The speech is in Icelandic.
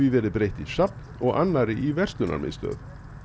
verið breytt í safn og annarri í verslunarmiðstöð